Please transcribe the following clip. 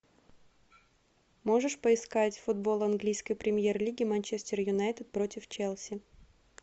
можешь поискать футбол английской премьер лиги манчестер юнайтед против челси